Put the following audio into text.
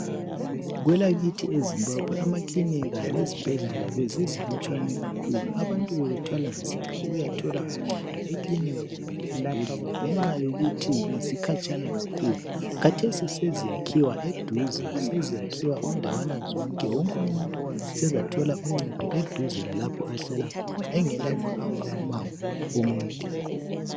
Kwelakithi eZimbabwe emakilinika lezibhedlela bezizilutshwane kakhulu. Abantu bebethwala nzima ukuyathola uncedo ekilinika kumbe lesibhedlela ngenxa yokuthi bezikhatshana kakhulu. Khathesi seziyakhiwa eduze seziyakhiwa indawana zonke. Wonku umuntu sezathola uncedo eduze lalapho ahlala khona engela kuhamba umango omude.